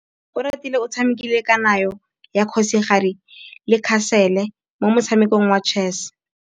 Oratile o tshamekile kananyô ya kgosigadi le khasêlê mo motshamekong wa chess.